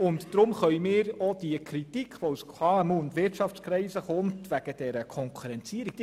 Deswegen können wir auch die Kritik aus Wirtschaftskreisen und von KMUs nachvollziehen.